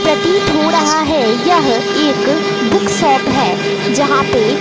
प्रतीत हो रहा है यह एक बुक सॉप है जहां पे--